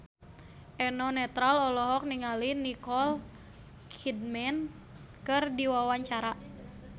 Eno Netral olohok ningali Nicole Kidman keur diwawancara